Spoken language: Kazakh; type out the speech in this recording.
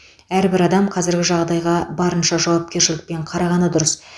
әрбір адам қазіргі жағдайға барынша жауапкершілікпен қарағаны дұрыс